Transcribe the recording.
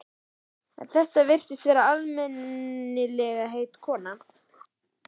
En þetta virtist vera almennilegheita kona.